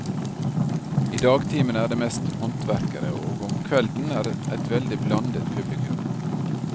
I dagtimene er det mest håndverkere, og om kvelden et veldig blandet publikum.